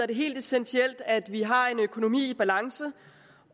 det helt essentielt at vi har en økonomi i balance